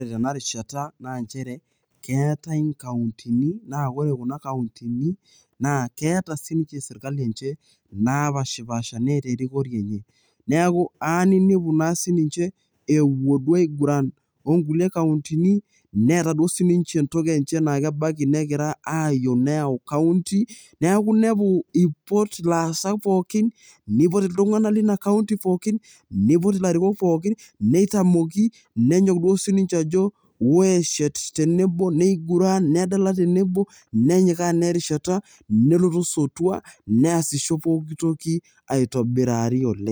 ore tena rishata naa nchere keetae inkauntini. naa ore kuna kauntini, naa keeta sii ninche sirkali enche naapashipaasha, neeta erikore enye. neku eya ninepu naa sii ninche epuo duo aiguran too nkulie kauntini, neeta duoo sii ninche entoki enye naa ebaiiki negira ayau county neeku inepu ipot ilaasak pookin, neipot iltungana leina county pookin, neipot ilarikok pooki neitamoki. nenyok duo sii ninche ajo, ore tenebo, neiguran, nedala tenebo. nenyikaa naa erishata, nelotu osotua. neesisho pooki toki aitobirari oleng.